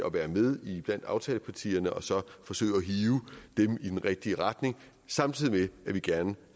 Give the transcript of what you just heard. at være med blandt aftalepartierne og så forsøge at hive dem i den rigtige retning samtidig med at vi gerne